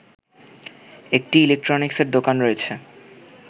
একটি ইলেকট্রনিক্সের দোকান রয়েছে